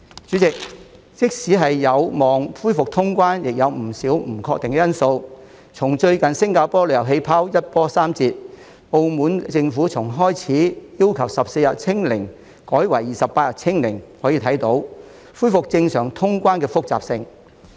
主席，即使有望恢復通關，亦有不少不確定因素，從最近新加坡"旅遊氣泡"一波三折、澳門政府從開始要求14天"清零"改為28天"清零"，可見恢復正常通關的複雜性。